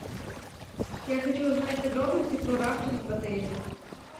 я хочу узнать подробности про рафтинг в отеле